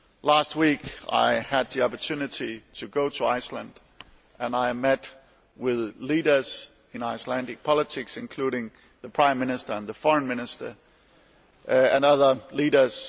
Last week I had the opportunity to go to Iceland, where I met with leaders in Icelandic politics, including the Prime Minister and the Foreign Minister and other leaders.